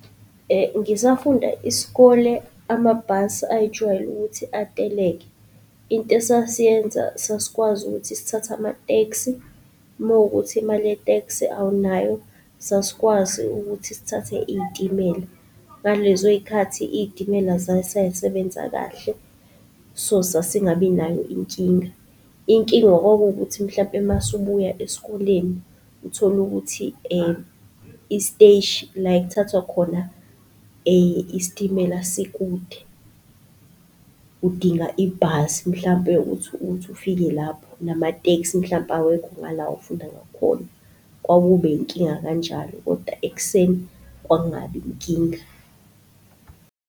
Ngisafunda isikole amabhasi ayejwayele ukuthi ateleke. Into esasiyenza sasikwazi ukuthi sithathe ama-taxi, mowukuthi imali ye-taxi awunayo, sasikwazi ukuthi sithathe iy'timela. Ngalezoy'khathi iy'timela zayisasebenza kahle, so sasingabinayo inkinga. Inkinga kwakuwuthi mhlampe mase ubuya esikoleni uthole ukuthi isiteshi la ekuthathwa khona isitimela sikude udinga ibhasi mhlampe ukuthi, ukuthi ufike lapho nama-taxi mhlampe awekho ngala ofunda ngakhona. Kwakuba yinkinga kanjalo kodwa ekuseni kwakungabi inkinga.